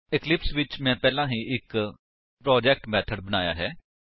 Eclipse ਵਿੱਚ ਮੈਂ ਪਹਿਲਾਂ ਹੀ ਇੱਕ ਪ੍ਰੋਜੇਕਟ ਮੇਥਡ ਬਣਾਇਆ ਹੈ